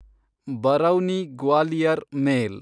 Barauni Gwalior ಮೇಲ್